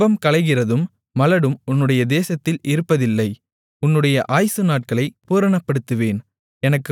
கர்ப்பம் களைகிறதும் மலடும் உன்னுடைய தேசத்தில் இருப்பதில்லை உன்னுடைய ஆயுசு நாட்களை பூரணப்படுத்துவேன்